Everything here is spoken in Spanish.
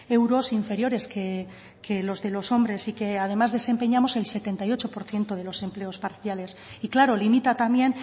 euros inferiores que los de los hombres y que además desempeñamos el setenta y ocho por ciento de los empleos parciales y claro limita también